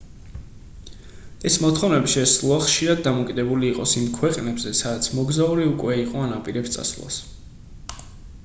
ეს მოთხოვნები შესაძლოა ხშირად დამოკიდებული იყოს იმ ქვეყნებზე სადაც მოგზაური უკვე იყო ან აპირებს წასვლას